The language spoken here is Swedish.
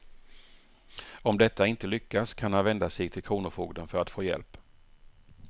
Om detta inte lyckas kan han vända sig till kronofogden för att få hjälp.